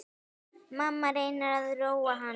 Mamma reynir að róa hann.